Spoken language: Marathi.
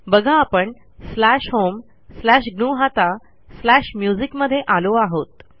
बघा आपण स्लॅश होम स्लॅश ग्नुहता स्लॅश म्युझिक मध्ये आलो आहोत